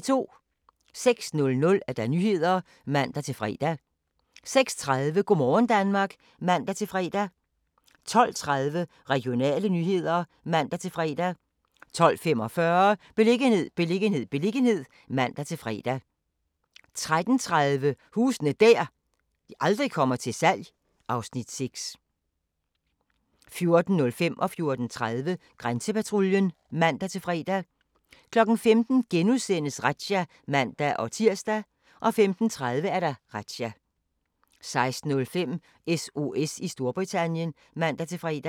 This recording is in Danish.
06:00: Nyhederne (man-fre) 06:30: Go' morgen Danmark (man-fre) 12:30: Regionale nyheder (man-fre) 12:45: Beliggenhed, beliggenhed, beliggenhed (man-fre) 13:30: Huse der aldrig kommer til salg (Afs. 6) 14:05: Grænsepatruljen (man-fre) 14:30: Grænsepatruljen (man-fre) 15:00: Razzia *(man-tir) 15:30: Razzia 16:05: SOS i Storbritannien (man-fre)